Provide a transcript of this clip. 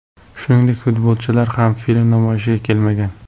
Shuningdek futbolchilar ham film namoyishiga kelmagan.